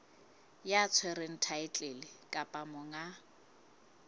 ya tshwereng thaetlele kapa monga